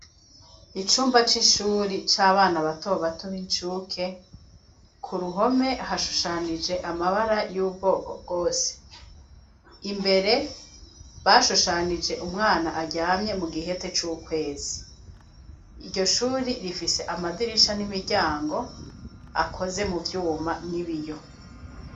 Icumba c'icuri c'abana batobatuba incuke ku ruhome hashushanije amabara y'ubwoko bwose imbere bashushanije umwana aryamye mu gihete c'ukwezi iryo shuri rifise amadirisha n'imiryango akozemwue vyoma nib iyo.